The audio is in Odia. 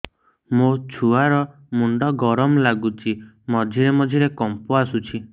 ମୋ ଛୁଆ ର ମୁଣ୍ଡ ଗରମ ଲାଗୁଚି ମଝିରେ ମଝିରେ କମ୍ପ ଆସୁଛି